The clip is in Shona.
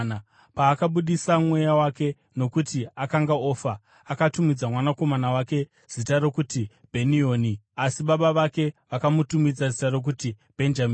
Paakabudisa mweya wake, nokuti akanga ofa, akatumidza mwanakomana wake zita rokuti Bheni-Oni. Asi baba vake vakamutumidza zita rokuti Bhenjamini.